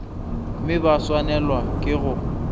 mme ba swanelwa ke go